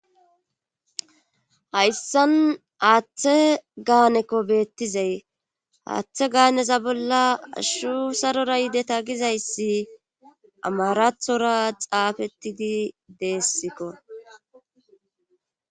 Hayssan aaththe gaaneko beettizay haaththe gaaneza bolla ashu sarora yideta gizayssi amarathora xaafettidi deessikko.